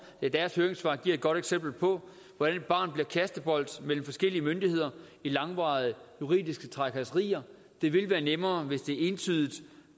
deres høringssvar giver et godt eksempel på hvordan et barn bliver kastebold mellem forskellige myndigheder i langvarige juridiske trakasserier det ville være nemmere hvis det entydigt